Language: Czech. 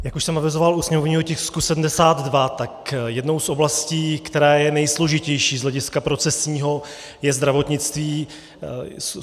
Jak už jsem avizoval u sněmovního tisku 72, tak jednou z oblastí, která je nejsložitější z hlediska procesního, je zdravotnictví.